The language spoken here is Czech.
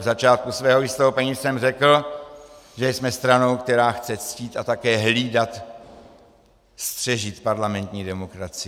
V začátku svého vystoupení jsem řekl, že jsme stranou, která chce ctít a také hlídat, střežit parlamentní demokracii.